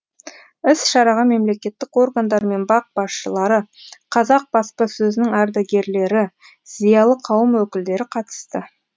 іс шараға мемлекеттік органдар мен бақ басшылары қазақ баспасөзінің ардагерлері зиялы қауым өкілдері қатысты